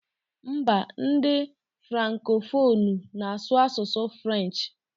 M̀bá ndị frankofonụ na-asụ asụsụ frenchị.